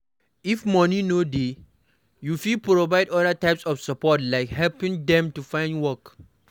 if moni no dey you fit provide oda types of support like helping dem to find work